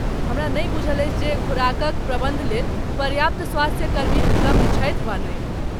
हमरा नहि बूझल अछि जे खुराकक प्रबन्धलेल पर्याप्त स्वास्थ्यकर्मी उपलब्ध छथि वा नहि।